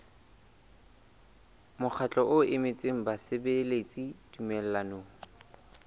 mokgatlo o emetseng basebeletsi tumellanong